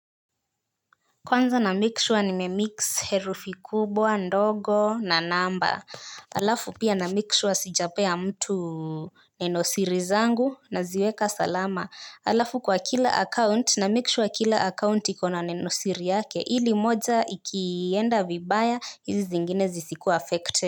Kwanza namake sure nimemix herufi kubwa ndogo na namba. Alafu pia namake sure sijapea mtu nenosiri zangu naziweka salama. Alafu kwa kila account namake sure kila account iko na nenosiri yake ili moja ikienda vibaya hizi zingine zisikuwe affected.